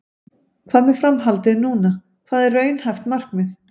Hvað með framhaldið núna, hvað er raunhæft markmið?